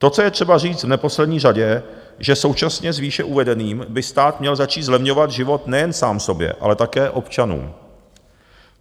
To, co je třeba říct v neposlední řadě, že současně s výše uvedeným by stát měl začít zlevňovat život nejen sám sobě, ale také občanům.